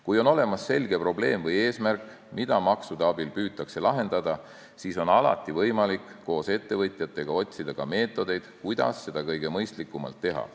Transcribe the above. Kui on olemas selge probleem või eesmärk, mida maksude abil püütakse lahendada, siis on alati võimalik koos ettevõtjatega otsida meetodeid, kuidas seda kõige mõistlikumalt teha.